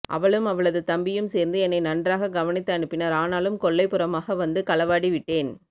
அவளும் அவளது தம்பியும் சேர்ந்து என்னை நன்றாக கவனித்து அனுப்பினர் ஆனாலும் கொல்லை புறமாக வந்து களவாடி விட்டேன்